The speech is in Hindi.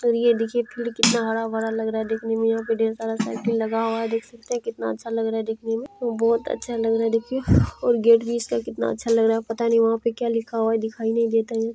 और ये देखिये फील्ड कितना हरा-भरा देखने में यहां पे ढेर सारा साइकिल लगा हुआ है देख सकते है कितना अच्छा लग रहा है देखने में बहुत अच्छा लग रहा है देखिये और गेट भी इसका कितना अच्छा लग रहा है पता नहीं वहां पे क्या लिखा हुआ है दिखाई नहीं देता।